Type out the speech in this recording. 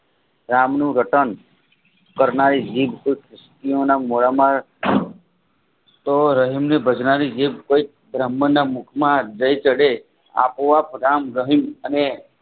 રામનું રટણ કરનારી જીભ અસ્તીઓના મોઢામાં તેઓ રહીમની ભજનારી જે કોઇક બ્રાહ્મણ ના મુખમાં જય ચડે આપોઆપ રામરહીમ અને